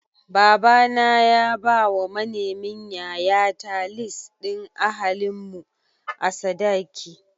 Baba na ya bawa manemin yayata lis ɗin ahalin mu a sadaki.